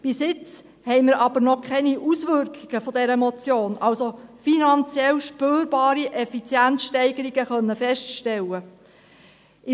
Bis jetzt haben wir jedoch noch keine Auswirkungen dieser Motion , das heisst finanziell spürbare Effizienzsteigerungen, feststellen können.